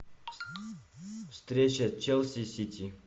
встреча челси сити